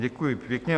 Děkuju pěkně.